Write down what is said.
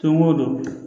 Don o don